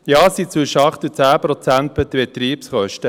Ja, es seien zwischen 8 und 10 Prozent der Betriebskosten.